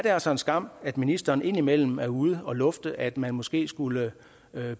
er altså en skam at ministeren indimellem er ude at lufte at man måske skulle